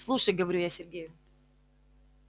слушай говорю я сергею